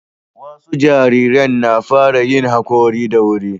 wasu jarirn na fara yin hakori da wuri